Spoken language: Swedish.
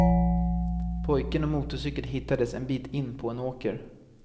Pojken och motorcykeln hittades en bit in på en åker.